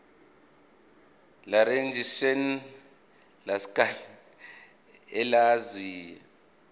lerejistreshini lesacnasp elaziwa